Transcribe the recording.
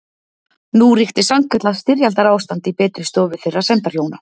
Nú ríkti sannkallað styrjaldarástand í betri stofu þeirra sæmdarhjóna